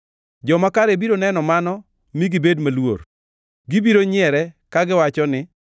Joma kare biro neno mano mi gibed maluor; gibiro nyiere kagiwacho ni,